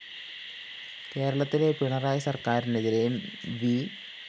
കേരളത്തിലെ പിണറായി സര്‍ക്കാരിനെതിരെയും വി